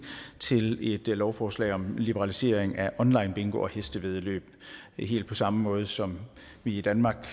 til et lovforslag om liberalisering af online bingo og hestevæddeløb helt på samme måde som vi i danmark